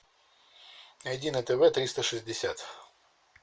найди на тв триста шестьдесят